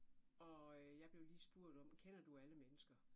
Og jeg blev lige spurgt om, kender du alle mennesker?